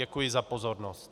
Děkuji za pozornost.